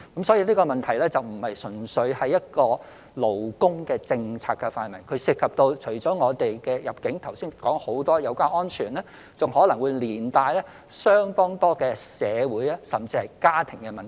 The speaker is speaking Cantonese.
所以，這個問題並非純粹屬於勞工政策的範圍，它除了涉及我剛才所說有關入境及保安的問題，亦可能連帶相當多社會甚至家庭問題。